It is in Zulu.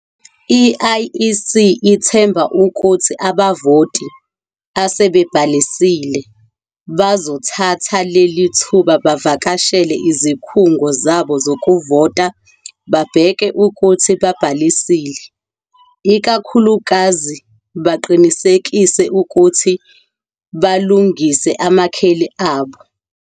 I-IEC ithemba ukuthi abavoti, asebebhalisile, bazothatha leli thuba bavakashele izikhungo zabo zokuvota babheke ukuthi babhalisile, ikakhulukazi baqinisekise futhi balungise amakheli abo.